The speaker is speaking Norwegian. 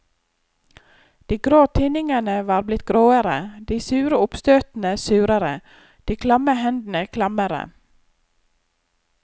De grå tinningene var blitt gråere, de sure oppstøtene surere, de klamme hendene klammere.